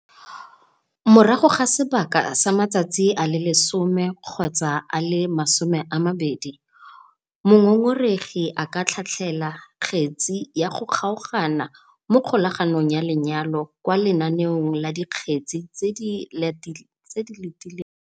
Morago ga sebaka sa matsatsi a le 10 kgotsa a le 20, mongongoregi a ka tlhatlhela kgetse ya go kgaogana mo kgolaganong ya lenyalo kwa lenaneong la dikgetse tse di letileng tsheko kwa kgotlatshekelo.